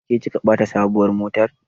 Ke kika bata sabuwar mota?